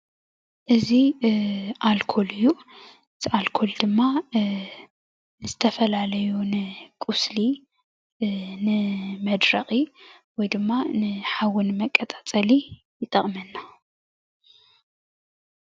እዚ ኣልኮል እዩ። እዚ ኣልኮል ድማ ንዝተፈላለዩ ቆስሊ ንመድረቂ ወይ ድማ ሓዊ ንመቀፃፀሊ ይጠቅመና፡፡